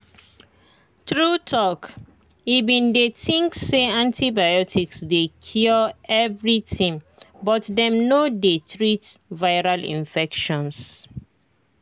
true talki bin dey think say antibiotics dey cure everything but dem no dey treat viral infections.